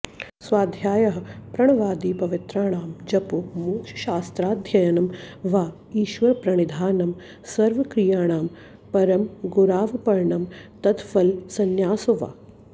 स्वाध्यायः प्रणवादिपवित्राणां जपो मोक्षशास्त्राध्ययनं वा ईश्वरप्रणिधानं सर्वक्रियाणां परमगुरावर्पणं तत्फलसंन्यासो वा